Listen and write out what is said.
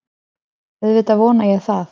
Auðvitað vona ég það